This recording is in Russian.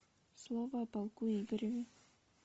слово о полку игореве